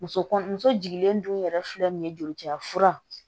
Muso kɔnɔ muso jiginlen dun yɛrɛ filɛ nin ye joliciya fura